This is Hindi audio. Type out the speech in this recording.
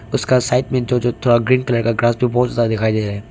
इसका साइड में जो जो थोड़ा ग्रीन कलर का ग्रास बहुत ज्यादा दिखाई दे रहा है।